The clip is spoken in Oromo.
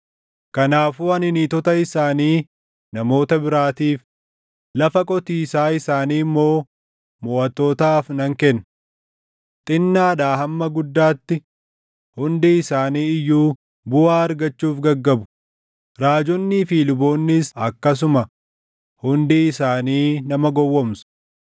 Kanaafuu ani niitota isaanii namoota biraatiif, lafa qotiisaa isaanii immoo moʼattootaaf nan kenna. Xinnaadhaa hamma guddaatti hundi isaanii iyyuu buʼaa argachuuf gaggabu; raajonnii fi luboonnis akkasuma hundi isaanii nama gowwoomsu.